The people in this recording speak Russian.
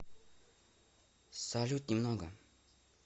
салют немного